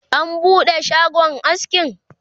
an buɗe shagon askin?